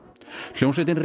hljómsveitin